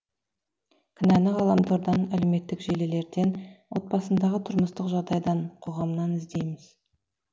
кінәні ғаламтордан әлеуметтік желілерден отбасындағы тұрмыстық жағдайдан қоғамнан іздейміз